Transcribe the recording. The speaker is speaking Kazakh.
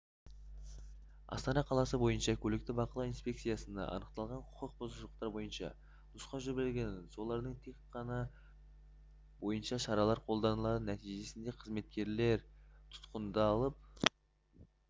астана қаласы бойынша көлікті бақылау инспекциясына анықталған құқық бұзушылықтар бойынша нұсқау жіберліген солардың тек қана бойынша шаралар қолданылды нәтижесінде қызметкер тұтқындалып